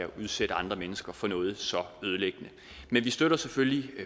udsætte andre mennesker for noget så ødelæggende vi støtter selvfølgelig